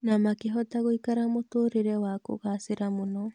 Na makĩhota gũikara mũtũrĩre wa kũgacĩra mũno.